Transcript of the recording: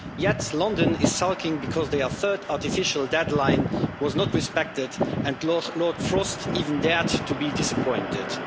Yet London is sulking because their third artificial deadline was not respected, and Lord Frost even dared to be disappointed'.